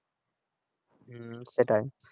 হ্যাঁ সেটাই